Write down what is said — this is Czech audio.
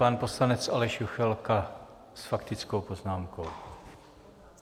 Pan poslanec Aleš Juchelka s faktickou poznámkou.